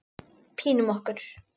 Pínum okkur.